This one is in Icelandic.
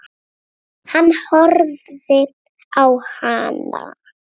Hann horfði á hana.